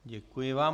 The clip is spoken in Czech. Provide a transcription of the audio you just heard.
Děkuji vám.